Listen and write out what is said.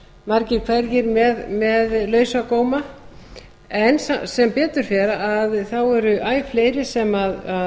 margir hverjir með lausa góma en sem betur fer eru æ fleiri sem